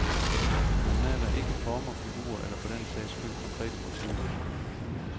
Han maler ikke former, figurer, eller for den sags skyld konkrete motiver.